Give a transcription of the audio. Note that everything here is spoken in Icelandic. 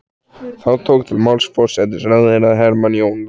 Þá tók til máls forsætisráðherra Hermann Jónasson.